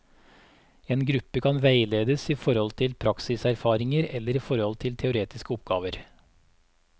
En gruppe kan veiledes i forhold til praksiserfaringer eller i forhold til teoretiske oppgaver.